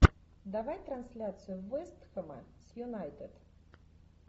давай трансляцию вест хэма с юнайтед